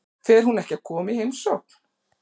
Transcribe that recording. Fer hún ekki að koma í heimsókn?